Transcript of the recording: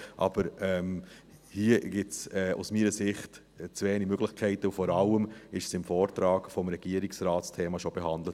Aber hier gibt es aus meiner Sicht zu wenige Möglichkeiten, und vor allem wurde das Thema im Vortrag des Regierungsrates bereits behandelt.